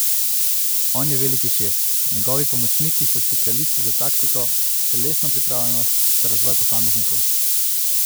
On je veliki šef, njegovi pomočniki so specialisti za taktiko, telesno pripravljenost, za razvoj posameznikov ...